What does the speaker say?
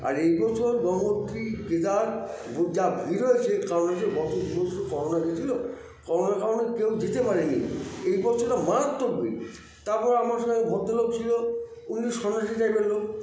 আর এই বছর গঙ্গোত্রী কেদার যা ভীড় হয়েছে কারণ হচ্ছে গত বছর তো corona গেছিলো corona -র কারনে কেউ যেতে পারেনি এই বচ্ছরটা মারাত্মক ভীড় তারপর আমার সঙ্গে এক ভদ্রলোক ছিল উনি সন্ন্যাসী type -র লোক